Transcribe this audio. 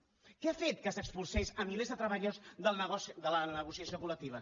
què ha fet que s’expulsés a milers de treballadors de la negociació col·i unió